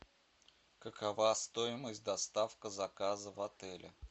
какова стоимость доставка заказа в отеле